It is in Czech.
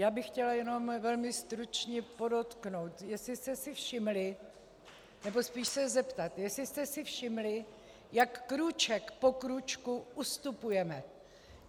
Já bych chtěla jenom velmi stručně podotknout, jestli jste si všimli - nebo spíš se zeptat, jestli jste si všimli, jak krůček po krůčku ustupujeme.